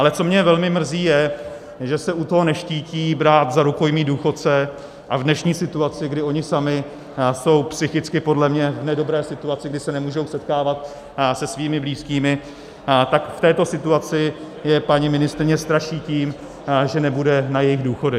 Ale co mě velmi mrzí, je, že se u toho neštítí brát za rukojmí důchodce, a v dnešní situaci, kdy oni sami jsou psychicky podle mě v nedobré situaci, kdy se nemůžou setkávat se svými blízkými, tak v této situaci je paní ministryně straší tím, že nebude na jejich důchody.